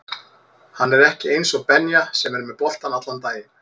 Hann er ekki eins og Benja sem er með boltann allan daginn